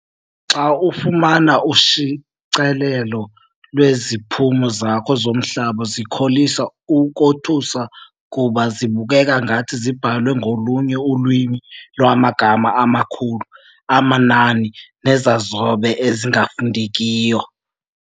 Xa ufumana ushicilelo lweziphumo zakho zomhlaba zikholisa ukothusa kuba zibukeka ngathi zibhalwe ngolunye ulwimi lwamagama amakhulu, amanani nezazobe ezingafundekiyo.